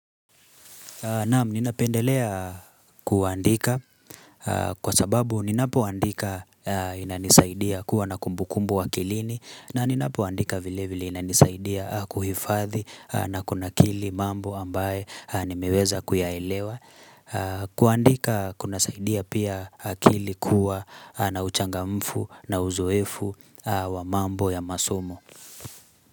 Naam, ninapendelea kuandika kwa sababu ninapo andika inanisaidia kuwa na kumbukumbu akilini na ninapo andika vile vile inanisaidia kuhifadhi na kunakili mambo ambaye nimeweza kuyaelewa kuandika kunasaidia pia akili kuwa na uchangamfu na uzoefu wa mambo ya masomo.